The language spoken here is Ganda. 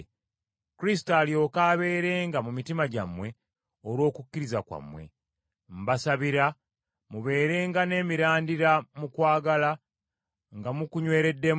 Kristo alyoke abeerenga mu mitima gyammwe olw’okukkiriza kwammwe. Mbasabira mubeerenga n’emirandira mu kwagala nga mukunywereddemu,